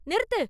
நிறுத்து!